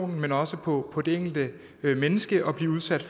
men også på det enkelte menneske at blive udsat